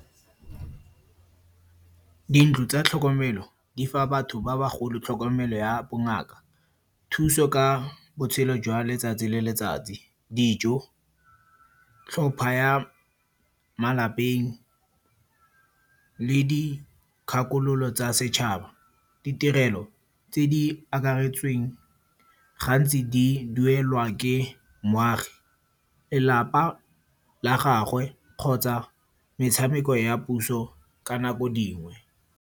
Dintlo tsa tlhokomelo di fa batho ba bagolo tlhokomelo ya bongaka, thuso ka botshelo jwa letsatsi le letsatsi, dijo, tlhopha ya malapeng le dikgakololo tsa setšhaba. Ditirelo tse di akareditsweng gantsi di duelwa ke moagi, lelapa la gagwe kgotsa metshameko ya puso ka nako dingwe.